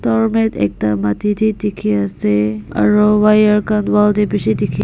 Doormat ekta mati dae dekhey ase aro wire khan wall dae beshi dekhi--